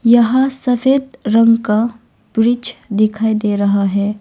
यहां सफेद रंग का ब्रिज दिखाई दे रहा है।